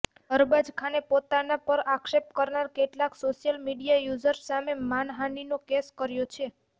અરબાઝ ખાને પોતાના પર આક્ષેપ કરનારા કેટલાક સોશિયલ મીડિયા યૂઝર્સ સામે માનહાનીનો કેસ કર્યો છે